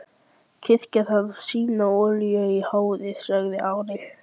Kirkjan þarf sína olíu í hárið, sagði Ari.